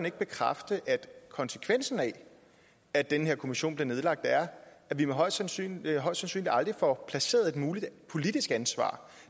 ikke bekræfte at konsekvensen af at den her kommission er nedlagt er at vi højst sandsynligt højst sandsynligt aldrig får placeret et muligt politisk ansvar